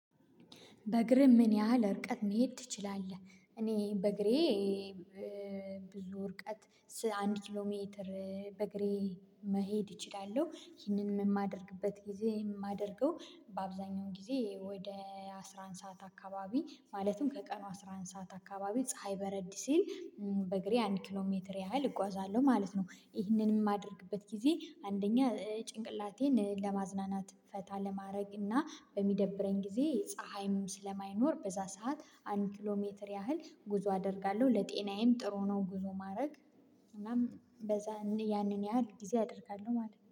በእግርም ምን ያህል እርቀት መሄድ ትችላለህ? እኔ በእግሬ ብዙ እርቀት አንድ ኪሎ ሜትር በእግሬ መሄድ እችላለሁ። ይህንን የማደርግበት ጊዜ የማደርገው በአብዛኛው ጊዜ ወደ አስራ አንድ ሰዓት አካባቢ ማለትም ከቀኑ አስራ አንድ ሰዓት አካባቢ ፀሀይ በረድ ሲል በእግሬ አንድ ኪሎ ሜትር ያህል እጓዛለሁ ማለት ነው። ይህንንም የማደርግበት ጊዜ አንደኛ ጭንቅላቴን ለማዝናናት ፈታ ለማድረግ እና በሚደብረኝ ጊዜ ፀሀይም ስለማይኖር በዛ ሰዓት አንድ ኪሎ ሜትር ያህል ጉዞ አደርጋለሁ ለጤናዬም ጥሩ ነው ጉዞ ማድረግ። እናም በዛ ያንን ያህል ጊዜ አደርጋለሁ ማለት ነው